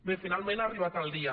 bé finalment ha arribat el dia